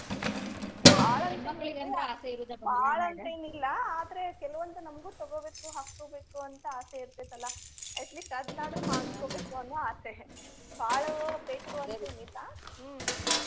ಬಾಳ ಅಂತ ಏನಿಲ್ರೀ ಬಾಳ ಅಂದ್ರ ಏನಿಲ್ಲಾ ಆದ್ರೆ ಕೆಲವೊಂದು ನಮ್ಗು ತಗೋಬೇಕು ಹಾಕೋಬೇಕು ಅಂತ ಆಸೆ ಇರ್ತೆತಿ ಅಲಾ at least ಅದ್ನಾದ್ರು ಮಾಡಸ್ಕೊಬೇಕು ಅನ್ನೋ ಆಸೆ ಬಾಳ ಬೇಕು ಅಂತೇನಿಲ್ಲಾ ಹ್ಮ.